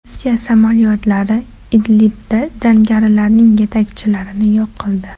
Rossiya samolyotlari Idlibda jangarilarning yetakchilarini yo‘q qildi.